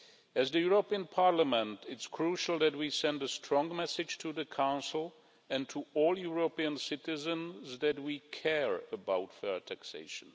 As the European Parliament, it's crucial that we send a strong message to the Council and to all European citizens that we care about fair taxation.